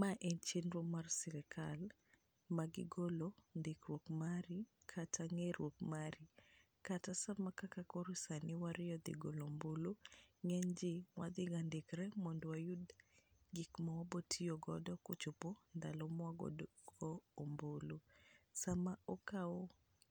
Ma en chenro mar sirikal magigolo ndikruok mari kata ng'eruok mari. Kata sama kaka koro warieyo dhi goyo ombulu ,ng'enyji madhiga ndikre mondo wayud gik ma wabotiyo godo kochopo ndalo mawagoyo ombulu. Sama okaw